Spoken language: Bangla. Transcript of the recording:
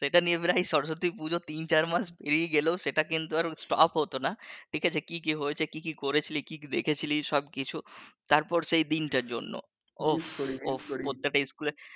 সেটা নিয়েই প্রায় সরস্বতী পুজো তিন চার মাস পেরিয়ে গেলেও সেটা কিন্তু আর stop হতোনা ঠিক আছে? কী কী হয়েছে কী কী করেছিলি কী কী দেখেছিলি সব কিছু তারপর সেই দিনটার জন্য ওফস ওফস প্রত্যেকটা স্কুল